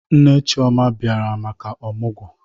Nne Chioma a biara maka ọmụgwọ